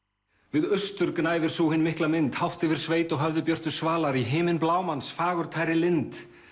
við austur gnæfir sú hin mikla mynd hátt yfir sveit og höfði björtu svalar í himinblámans fagurtæru lind